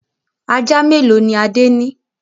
Ajá mélòó ni Adé ní?